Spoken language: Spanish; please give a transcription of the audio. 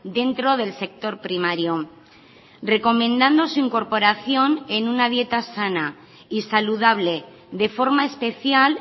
dentro del sector primario recomendando su incorporación en una dieta sana y saludable de forma especial